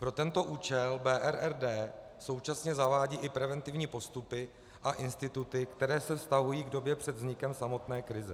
Pro tento účel BRRD současně zavádí i preventivní postupy a instituty, které se vztahují k době před vznikem samotné krize.